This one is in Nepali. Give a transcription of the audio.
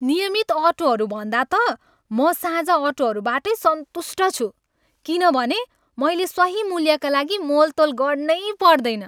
नियमित अटोहरूभन्दा त, म साझा अटोहरूबाटै सन्तुष्ट छु किनभने मैले सही मूल्यका लागि मोलतोल गर्नै पर्दैन।